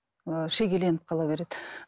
ыыы шегеленіп қала береді